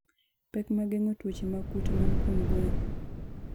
Pek mag geng'o tuoche mag kute mag kuom gwen.